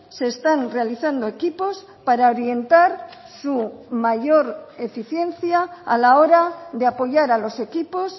se están realizando equipos para orientar su mayor eficiencia a la hora de apoyar a los equipos